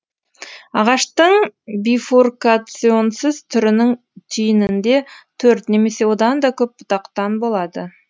ағаштың бифуркационсыз түрінің түйінінде төрт немесе одан да көп бұтақтан болады